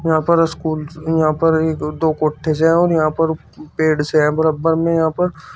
यहां पर स्कूल यहां पर एक दो कोठे से हैं और यहां पर पेड़ से हैं बराब्बर में यहां पर --